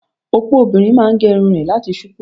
Opo obìnrin máa gé irun rẹ̀ láti ṣupọ́.